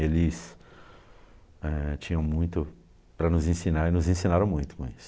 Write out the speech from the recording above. Eles eh, tinham muito para nos ensinar e nos ensinaram muito com isso.